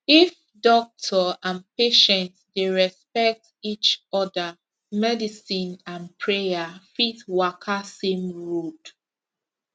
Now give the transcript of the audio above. if doctor and patient dey respect each other medicine and prayer fit waka same road